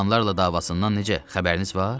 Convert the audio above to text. İspanlılarla davasından necə xəbəriniz var?